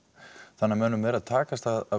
þannig að mönnum er að takast að